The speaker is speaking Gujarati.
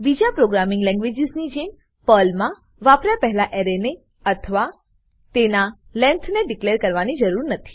બીજા પ્રોગ્રામિંગ લેંગવેજીસની જેમ પર્લમા વાપર્યા પહેલા એરેને અથવા તેના લેન્થને ડીકલેર કરવાની જરુત નથી